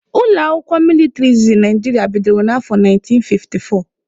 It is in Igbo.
Ụlọakwụkwọ mịlịtrị izizi Naijiria bidoro na afọ 1954